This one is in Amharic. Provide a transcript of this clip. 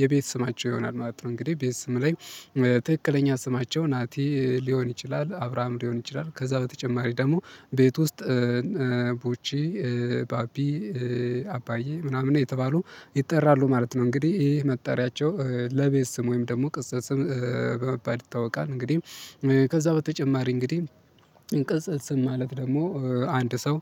የቤት ስማቸው ይሆናል ማለት ነው። እንግዲህ ቤተሰብ ላይ ትክክለኛ ስማቸው ናቲ ሊሆን ይችላል አብራም ሊሆን ይችላል ከዛ በተጨማሪ ደግሞ ቤት ውስጥ ቡቺ ባቢ አባዬ ምናምን እየተባሉ ይጠራሉ ማለት ነው። እንግዲህ ይሄ መጣሪያቸው ለቤት ስም ወይም ደግሞ ቅጽል ስም በመባል ይታወቃል። እንግዲህ ከዛ በተጨማሪ እንግዲህ ቅጽል ስም ማለት ደግሞ አንድ ሰው